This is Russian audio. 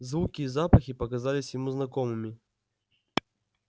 звуки и запахи показались ему знакомыми